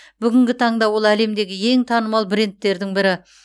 бүгінгі таңда ол әлемдегі ең танымал брендтердің бірі